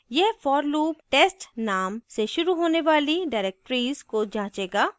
यह for loop test name से शुरू होने वाली directories को जाँचेगा